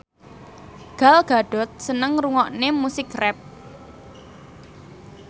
Gal Gadot seneng ngrungokne musik rap